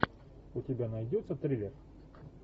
у тебя найдется триллер